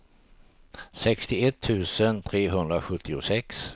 sextioett tusen trehundrasjuttiosex